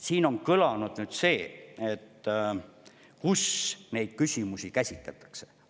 Siin on kõlanud, et kus neid küsimusi käsitletakse.